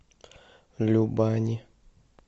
любани